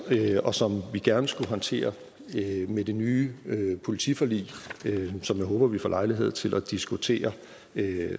og som vi gerne skulle håndtere med det nye politiforlig som jeg håber vi får lejlighed til at diskutere